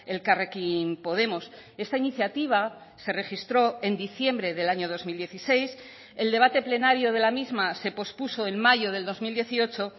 elkarrekin podemos esta iniciativa se registró en diciembre del año dos mil dieciséis el debate plenario de la misma se pospuso en mayo del dos mil dieciocho